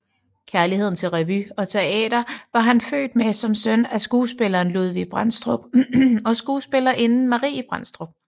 Kærligheden til revy og teater var han født med som søn af skuespilleren Ludvig Brandstrup og skuespillerinden Marie Brandstrup